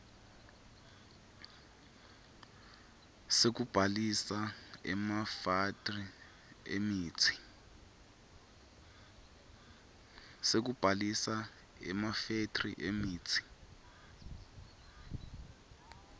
sekubhalisa emafethri emitsi